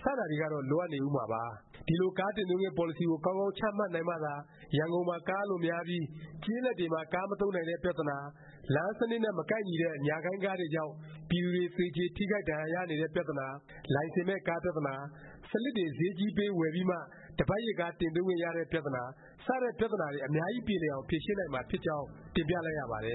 တွေကတော့ လိုအပ်ဦးမှာပါ။ ဒီလို ကားတင်သွင်းခွင့် ပေါ်လစီကို ကောင်းကောင်း ချမှတ်နိုင်မှသာ ရန်ကုန်မှာ ကားအလွန်များပြီး ကျေးလက်တွေမှာ ကားမသုံးနိုင်တဲ့ ပြသနာ၊ လမ်းစနစ်နဲ့ မကိုက်တဲ့ ညာ၈ိုင်းကားတွေကြောင့် ပြည်သူတွေ သေကြေ ထိခိုက်ဒါဏ်ရာရတဲ့ ပြသနာ၊ လိုင်စင်မဲ့ကား ပြသနာ၊ စလစ်တွေ ဈေးကြီးပေး ဝယ်ပြီးမှ တစ်ပတ်ရစ်ကား တင်သွင်းခွင့်ရတဲ့ ပြသနာ စတဲ့ ပြသနာတွေအများကြီး ပြေလည်အောင် ဖြေရှင်းနိုင်မှာ ဖြစ်ပါကြောင်း တင်ပြလိုက်ရပါတယ